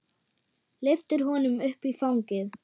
Lyftir honum upp í fangið.